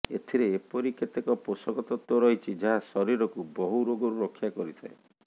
ଏଥିରେ ଏପରି କେତେକ ପୋଷକ ତତ୍ତ୍ୱ ରହିଛି ଯାହା ଶରୀରକୁ ବହୁ ରୋଗରୁ ରକ୍ଷା କରିଥାଏ